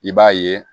I b'a ye